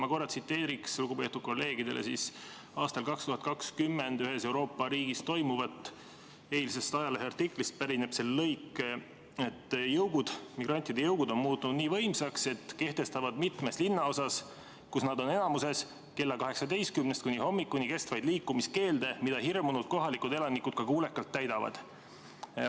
Ma korra tsiteerin lugupeetud kolleegidele aastal 2020 ühes Euroopa riigis toimuva kirjeldust, eilsest ajaleheartiklist pärineb see lõik: "Samas on jõugud muutunud nii võimsaks, et kehtestavad mitmes linnaosas, kus migrandid on enamikus, kella 18st kuni hommikuni kestvaid liikumiskeelde, mida hirmunud elanikud ka kuulekalt täidavad.